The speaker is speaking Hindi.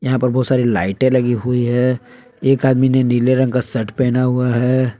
यहां पर बहुत सारी लाइट लगी हुई है एक आदमी ने नीले रंग का शट पहना हुआ है।